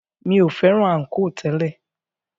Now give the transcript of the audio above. Mi o fẹ́ràn ànkò tẹ́lẹ̀.